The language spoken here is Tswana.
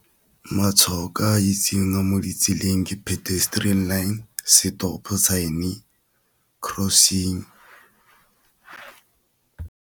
Matshwao ke a itseng mo ditseleng ke pedestrian line, stop sign-e, crossing.